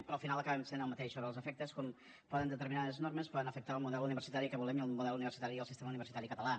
però al final acaben sent el mateix els efectes com determinades normes poden afectar el model universitari que volem i el model universitari i el sistema universitari català